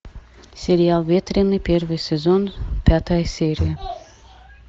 сериал ветреный первый сезон пятая серия